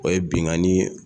O ye binkanni